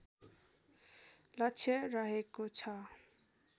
लक्ष्य रहेको छ